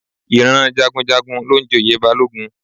Ìran Jagunjagun ló ń joyè Balógun